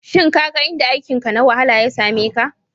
Shin ka ga inda aikinka na wahala ya same ka?